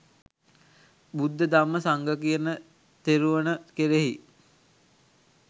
බුද්ධ ධම්ම, සංඝ කියන තෙරුවණ කෙරෙහි